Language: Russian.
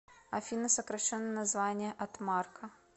афина сокращенное название от марка